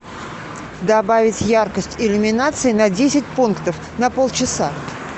добавить яркость иллюминации на десять пунктов на полчаса